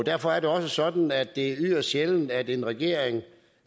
derfor er det også sådan at det er yderst sjældent at en regering